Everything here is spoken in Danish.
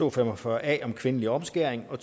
og fem og fyrre a om kvindelig omskæring og